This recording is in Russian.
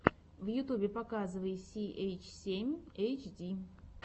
в ютьюбе показывай си эйч семь эйч ди